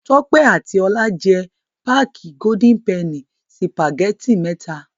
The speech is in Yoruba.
Tọ́pẹ́ àti Ọlá jẹ páákì Golden penny sìpàgẹ́tì mẹ́ta.